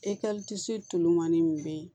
E tɛ se tulonmani min bɛ yen